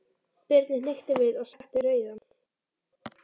Birni hnykkti við og setti rauðan.